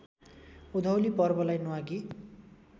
उधौली पर्वलाई न्वागी